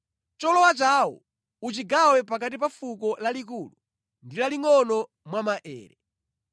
Cholowa chawo uchigawe pakati pa fuko lalikulu ndi lalingʼono mwa maere.”